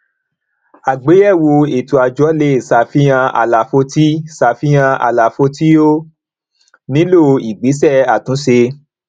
àgbéyèwò ètò àjọ lè ṣàfihàn àlàfo tí ṣàfihàn àlàfo tí ó nílò ìgbésẹ àtúnṣe